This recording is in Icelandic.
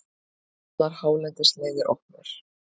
Allar hálendisleiðir opnar